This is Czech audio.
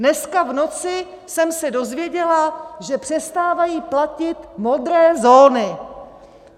Dneska v noci jsem se dozvěděla, že přestávají platit modré zóny!